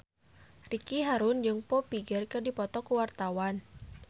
Ricky Harun jeung Foo Fighter keur dipoto ku wartawan